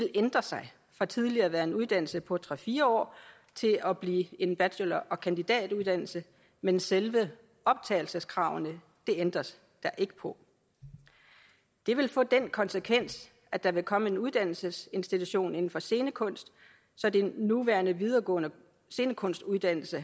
ændre sig fra tidligere at have været en uddannelse på tre fire år til at blive en bachelor og kandidatuddannelse men selve optagelseskravene ændres der ikke på det vil få den konsekvens at der vil komme en uddannelsesinstitution inden for scenekunst så de nuværende videregående scenekunstuddannelser